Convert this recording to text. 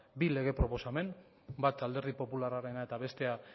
bi lege proposamen bata alderdi popularrarena eta bestea